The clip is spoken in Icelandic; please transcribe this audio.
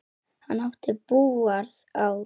Hann átti búgarð á